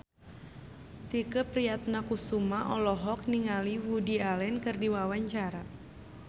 Tike Priatnakusuma olohok ningali Woody Allen keur diwawancara